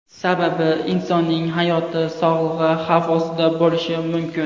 Sababi insonning hayoti va sog‘lig‘i xavf ostida bo‘lishi mumkin.